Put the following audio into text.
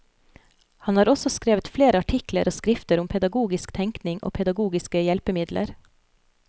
Han har også skrevet flere artikler og skrifter om pedagogisk tenkning og pedagogiske hjelpemidler.